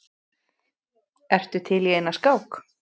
Ertu til í eina skák?